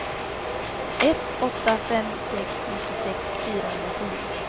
ett åtta fem sex nittiosex fyrahundratio